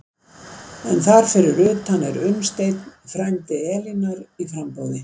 En þar fyrir utan er Unnsteinn, frændi Elínar, í framboði.